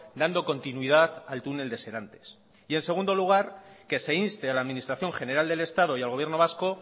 dando continuidad al túnel de serantes y en segundo lugar que se inste a la administración general del estado y al gobierno vasco